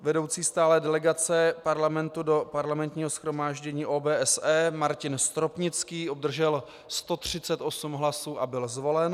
Vedoucí stálé delegace Parlamentu do Parlamentního shromáždění OBSE - Martin Stropnický obdržel 138 hlasů a byl zvolen.